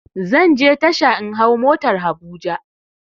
Zanje tasha in hau motar habuja